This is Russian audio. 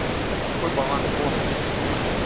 какой баланс бонусов